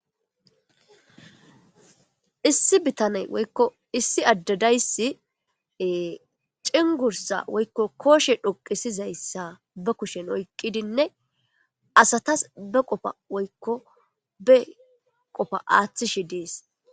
Issi bitaney woykko issi addadayssi cingursa woykko kooshe dhoqisizayssa ba kushen oyqqidinne asatas be qofa woykko be qofa aaththishi dees